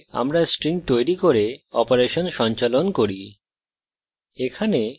এইভাবে আমরা strings তৈরি করি এবং strings অপারেশন সঞ্চালন করি